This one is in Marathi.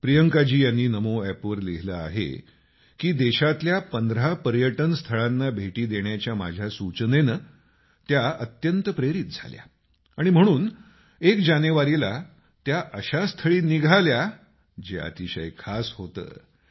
प्रियंकाजी यांनी नमो एपवर लिहिलं आहे की देशातल्या 15 पर्यटन स्थळांना भेटी देण्याच्या माझ्या सूचनेनं त्या अत्यंत प्रेरित झाल्या आणि म्हणून एक जानेवारीला त्या अशा स्थळी निघाल्या जे अतिशय खास होतं